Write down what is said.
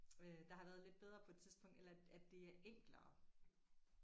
Øh der har været lidt bedre på et tidspunkt eller at det er enklere